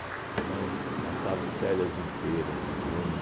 Então, eu passava as férias inteiras de junho.